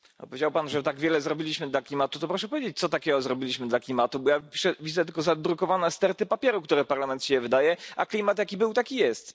Powiedział Pan, że tak wiele zrobiliśmy dla klimatu, to proszę powiedzieć, co takiego zrobiliśmy dla klimatu, bo ja widzę tylko zadrukowane sterty papierów, które Parlament z siebie wydaje, a klimat jaki był, taki jest.